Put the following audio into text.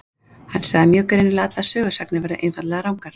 Hann sagði mjög greinilega að allar sögusagnir væru einfaldlega rangar.